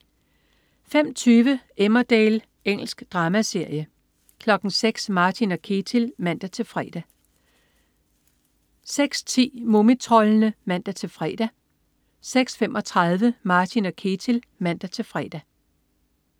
05.20 Emmerdale. Engelsk dramaserie 06.00 Martin og Ketil (man-fre) 06.10 Mumitroldene (man-fre) 06.35 Martin og Ketil (man-fre)